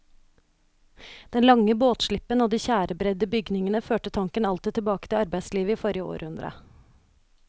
Den lange båtslippen og de tjærebredde bygningene førte tanken alltid tilbake til arbeidslivet i forrige århundre.